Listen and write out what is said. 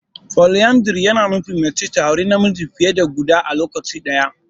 Poliyandari ya na nufin mace ta auri namiji fiye da guda a lokaci ɗaya.